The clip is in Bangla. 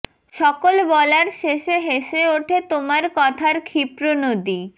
সকল বলার শেষে হেসে ওঠে তোমার কথার ক্ষিপ্র নদী